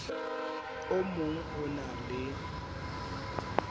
o mong o na le